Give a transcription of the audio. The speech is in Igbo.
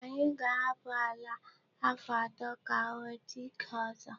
Anyị ga-ahapụ àlà a afọ atọ ka ọ nwete ike ọzọ.